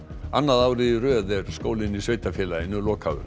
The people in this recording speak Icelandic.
annað árið í röð er skólinn í sveitarfélaginu lokaður